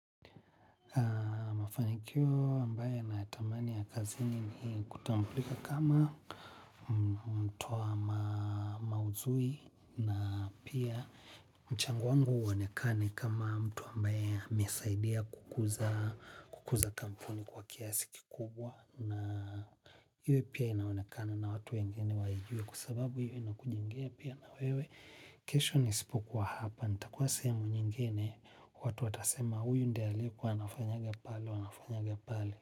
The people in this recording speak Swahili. Mafanikio ambaye nayatamani ya kazini ni kutambulika kama mtu wa mauzui na pia mchango uwonekane kama mtu ambaye mesaidia kukuza kampuni kwa kiasi kikubwa. Na hiyo pia inaonekane na watu wengine waijue kusababu hiyo ina kujingea pia na wewe. Kesho nisipo kwa hapa nita kuwa sehemu nyingine watu atasema huyu ndie aliku wanafanyaga pale wanafanyaga pale.